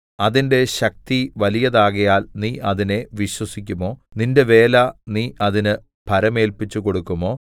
അതിന്റെ ശക്തി വലിയാതാകയാൽ നീ അതിനെ വിശ്വസിക്കുമോ നിന്റെ വേല നീ അതിന് ഭരമേല്പിച്ച് കൊടുക്കുമോ